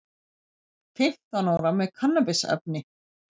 Fimmtán ára með kannabisefni